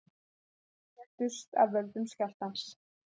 Tveir létust af völdum skjálftans